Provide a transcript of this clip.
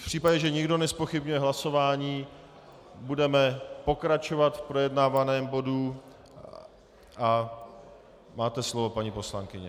V případě, že nikdo nezpochybňuje hlasování, budeme pokračovat v projednávaném bodu a máte slovo, paní poslankyně.